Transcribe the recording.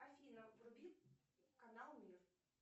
афина вруби канал мир